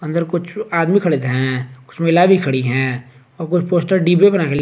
अंदर कुछ आदमी खड़े हैं कुछ महिला भी खड़ी हैं और कुछ पोस्टर डिब्बे बनाके--